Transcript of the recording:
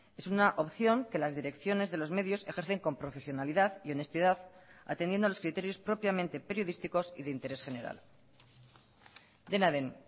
es una opción que las direcciones de los medios ejercen con profesionalidad y honestidad atendiendo a los criterios propiamente periodísticos y de interés general dena den